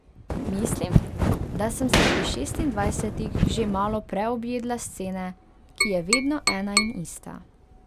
Mislim, da sem se pri šestindvajsetih že malo preobjedla scene, ki je vedno ena in ista.